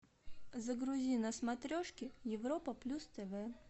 загрузи на смотрешке европа плюс тв